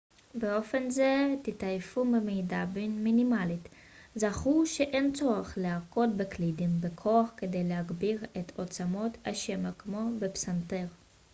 באופן זה תתעייפו במידה מינימלית זכרו שאין צורך להכות בקלידים בכוח כדי להגביר את עוצמת השמע כמו בפסנתר